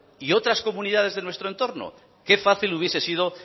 y otras comunidades de nuestro entorno qué fácil hubiese sido